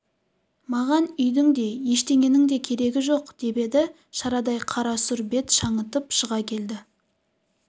маған үйдің де ештеңенің де керегі жоқ деп еді шарадай қарасұр бет шаңытып шыға келді